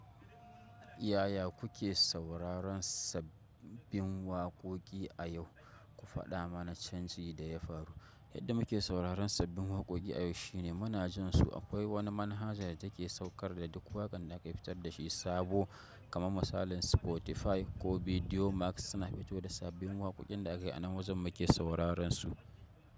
Yaya kuke sauraron sabbin waƙoƙi a yau? Ku faɗa mana canji da ya faru. Yadda muke sauraron sabbin waƙoƙi a yau shine muna jin su akwai wani manhaja da take saukar da duk waƙan da aka fitar da shi sabo kamar misalin Spotify ko Video Max suna fitar da sabbin waƙoƙin da aka yi a nan wajen muke sauraron su.